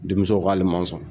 Denmuso k'ale ma sɔn.